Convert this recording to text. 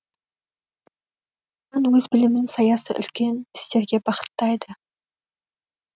әлихан өз білімін саяси үлкен істерге бағыттайды